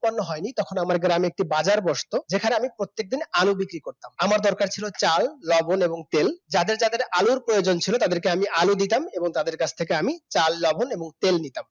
উৎপাদন হয়নি তখন আমার গ্রামে একটি বাজার বস্তু, যেখানে আমি প্রত্যেকদিন আলু বিক্রি করতাম আমার দরকার ছিল চাল, লবণ এবং তেল যাদের যাদের আলুর প্রয়োজন ছিল তাদেরকে আমি আলু দিতাম এবং তাদের কাছ থেকে আমি চাল, লবণ এবং তেল নিতাম